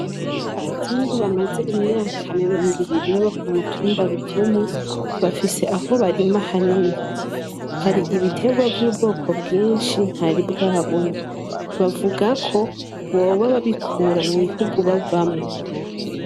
Abazungu bamaze imyaka mirongo ibiri baba kumutumba Ruvumu bafise aho barima hanini hari ibitebwa vy'ubwoko bwinshi ntaribwabona bavuga ko boba babikura mu bihugu bavamo.